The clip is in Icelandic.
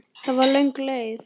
Það var löng leið.